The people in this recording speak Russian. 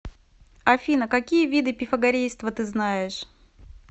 афина какие виды пифагорейство ты знаешь